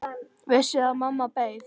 Vissi að mamma beið.